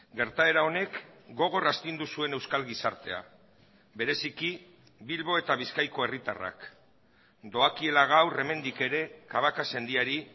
gertaera honek gogor astindu zuen euskal gizartea bereziki bilbo eta bizkaiko herritarrak doakiela gaur hemendik ere cabacas sendiari